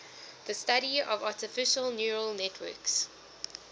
the study of artificial neural networks